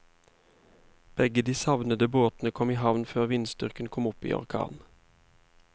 Begge de savnede båtene kom i havn før vindstyrken kom opp i orkan.